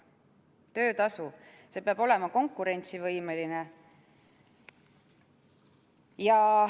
Töötasu peab olema konkurentsivõimeline.